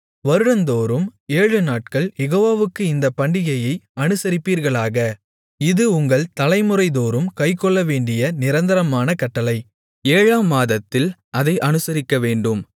வருடந்தோறும் ஏழுநாட்கள் யெகோவாவுக்கு இந்தப் பண்டிகையை அனுசரிப்பீர்களாக இது உங்கள் தலைமுறைதோறும் கைக்கொள்ளவேண்டிய நிரந்தரமான கட்டளை ஏழாம் மாதத்தில் அதை அனுசரிக்கவேண்டும்